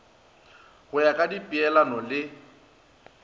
go ya ka dipeelano le